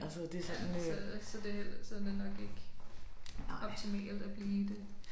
Ja så så det heller så det nok ikke optimalt at blive i det